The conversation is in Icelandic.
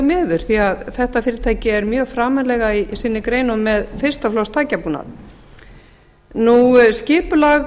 miður því að þetta fyrirtæki er mjög framarlega í sinni grein og með fyrsta flokks tækjabúnað skipulag